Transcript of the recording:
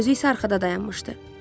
Özü isə arxada dayanmışdı.